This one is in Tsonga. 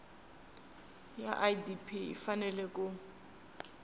ya idp yi fanele ku